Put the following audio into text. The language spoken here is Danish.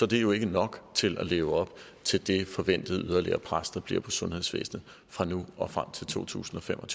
det jo ikke nok til at leve op til det forventede yderligere pres der bliver på sundhedsvæsenet fra nu og frem til totusinde og